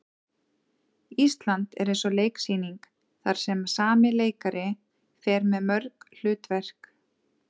Ísland er eins og leiksýning þar sem sami leikari fer með mörg hlutverk.